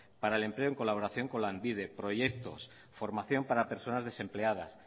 para el empleo en colaboración con lanbide proyectos formación para personas desempleadas